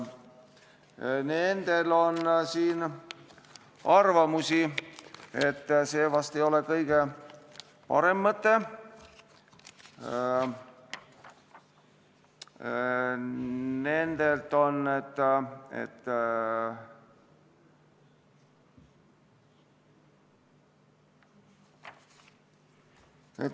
Nendel on arvamus, et see vist ei ole kõige parem mõte.